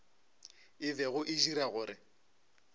e bego e dira gore